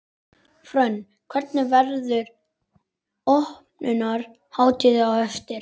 Hrönn, hvernig, verður opnunarhátíð á eftir?